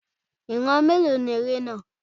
Ìran mélòó ni eré náà?